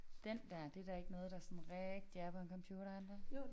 Den der det da ikke noget der sådan rigtig er på en computer er det det